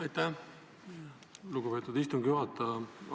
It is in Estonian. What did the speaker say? Aitäh, lugupeetud istungi juhataja!